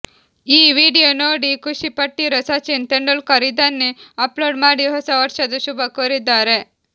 ಈ ವಿಡಿಯೋ ನೋಡಿ ಖುಷಿ ಪಟ್ಟಿರೋ ಸಚಿನ್ ತೆಂಡೂಲ್ಕರ್ ಇದನ್ನೇ ಅಪ್ಲೋಡ್ ಮಾಡಿ ಹೊಸ ವರ್ಷದ ಶುಭ ಕೋರಿದ್ದಾರೆ